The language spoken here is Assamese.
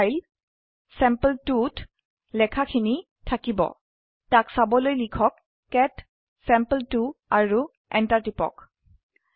অন্য ফাইল চেম্পল2 ত লেখা খিনি থাকিব ত়াক চাবলৈ লিখক কেট চেম্পল2 আৰু এন্টাৰ টিপক